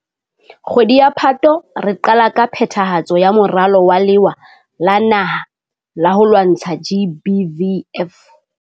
Kgwedi ya Phato, re qala ka phethahatso ya Moralo wa Lewa la Naha la ho lwantsha GBVF.